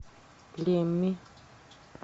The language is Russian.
лемми